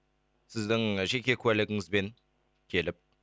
сіздің жеке куәлігіңізбен келіп